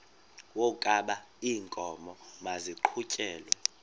wokaba iinkomo maziqhutyelwe